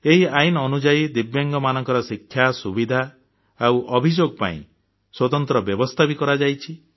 ଏହି ଆଇନ ଅନୁଯାୟୀ ଦିବ୍ୟାଙ୍ଗମାନଙ୍କ ଶିକ୍ଷା ସୁବିଧା ଆଉ ଅଭିଯୋଗ ପାଇଁ ସ୍ୱତନ୍ତ୍ର ବ୍ୟବସ୍ଥା ବି କରାଯାଇଛି